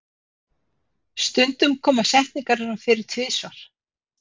stundum koma setningarnar fyrir tvisvar